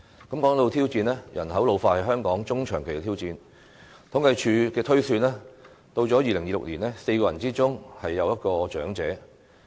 談到挑戰，人口老化是香港中長期的挑戰，按政府統計處的推算，至2026年 ，4 人之中便有一位長者。